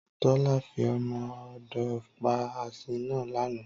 Tọ́lá fi ọmọ odó pa asín náà lánàá